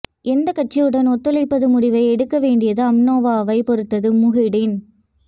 எந்த கட்சியுடன் ஒத்துழைப்பது முடிவு எடுக்க வேண்டியது அம்னோவைப் பொறுத்தது முஹிடின்